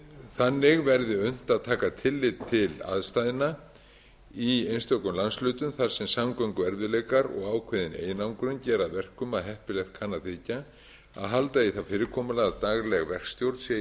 þannig verði unnt að taka tillit til aðstæðna í einstökum landshlutum þar sem samgönguerfiðleikar og ákveðin einangrun gera að verkum að heppilegt kann að þykja að halda í það fyrirkomulag að dagleg verkstjórn sé í